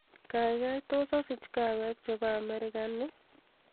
gaigaitos asich kaweek chebo amerikano ii